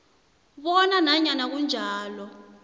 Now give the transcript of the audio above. bona nanyana kunjalo